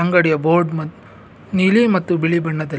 ಅಂಗಡಿಯ ಬೋರ್ಡ್ ನೀಲಿ ಮತ್ತು ಬಿಳಿ ಬಣ್ಣದಲ್ಲಿದೆ--